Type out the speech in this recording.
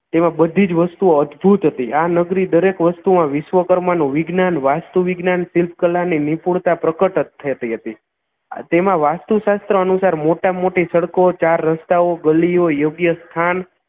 તેમા બધી જ વસ્તુઓ અદ્ભુત હતી આ નગરી દરેક વસ્તુઓમાં વિશ્વકર્મા નું વિજ્ઞાન વાસ્તુ વિજ્ઞાન શીલ્પકલાની નિપુણતા પ્રકટ થતી હતી તેમાં વાસ્તુશાસ્ત્ર અનુસાર મોટામાં મોટી સડકો ચાર રસ્તાઓ ગલીઓ યોગ્ય સ્થાન